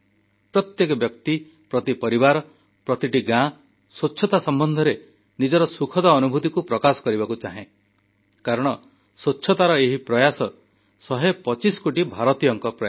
ପ୍ରତ୍ୟେକ ବ୍ୟକ୍ତି ପ୍ରତି ପରିବାର ପ୍ରତିଟି ଗାଁ ସ୍ୱଚ୍ଛତା ସମ୍ବନ୍ଧରେ ନିଜର ସୁଖଦ ଅନୁଭୂତିକୁ ପ୍ରକାଶ କରିବାକୁ ଚାହେଁ କାରଣ ସ୍ୱଚ୍ଛତାର ଏହି ପ୍ରୟାସ 125 କୋଟି ଭାରତୀୟଙ୍କର ପ୍ରୟାସ